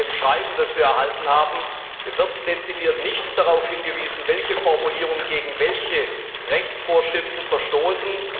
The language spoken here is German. In dem Schreiben, das wir erhalten haben, wird dezidiert nicht darauf hingewiesen, welche Formulierungen gegen welche Rechtsvorschriften verstoßen.